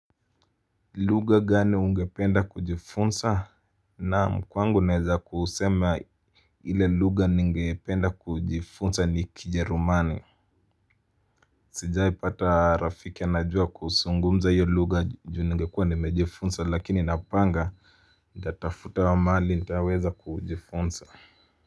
Lugha gani ungependa kujifunza naam kwangu naeza kusema ile lugha ningependa kujifunza ni kijerumani. Sijai pata rafiki anajua kuzungumza hiyo lugha ju ningekuwa nimejifunsa lakini napanga nitafutawa mahali nitaweza kujifunza.